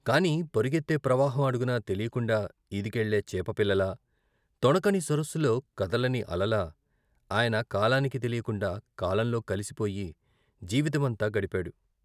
కాని పరుగెత్తే ప్రవాహం అడుగున తెలియకుండా ఈదుకెళ్ళే చేపపిల్ల లా, తొణకని సరస్సులో కదలని అలలా, ఆయన కాలానికి తెలియకుండా కాలంతో కలిసిపోయి జీవితమంతా గడిపాడు.